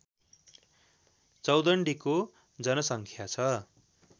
चौदण्डीको जनसङ्ख्या छ